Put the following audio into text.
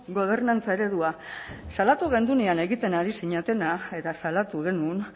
gobernantza eredua salatu genuenean egiten ari zinetena eta salatu genuen